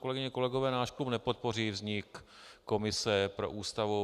Kolegyně, kolegové, náš klub nepodpoří vznik komise pro Ústavu.